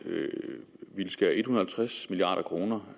vil skære en hundrede og halvtreds milliard kroner